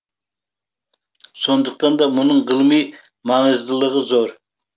сондықтан да мұның ғылыми маңыздылығы зор